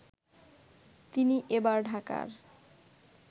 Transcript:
তিনি এবার ঢাকার